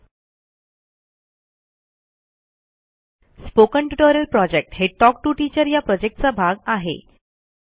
spoken tutorial project हे talk to teacher या प्रॉजेक्टचा भाग आहे